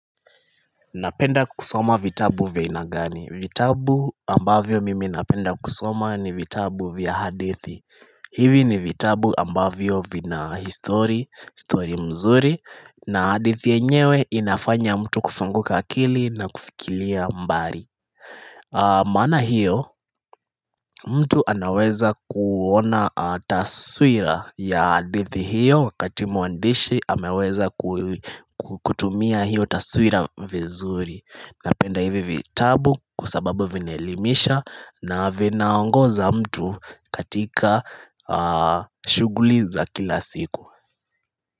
Napenda kusoma vitabu vya aina gani. Vitabu ambavyo mimi napenda kusoma ni vitabu vya hadithi. Hivi ni vitabu ambavyo vina history, story mzuri na hadithi yenyewe inafanya mtu kufunguka akili na kufikilia mbali. Maana hiyo mtu anaweza kuona taswira ya hadithi hiyo wakati mwandishi ameweza kutumia hiyo taswira vizuri Napenda hivi vitabu kusababu vinaelimisha na vinaongoza mtu katika shuguli za kila siku.